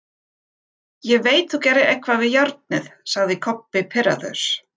Ég veit þú gerðir eitthvað við járnið, sagði Kobbi pirraður.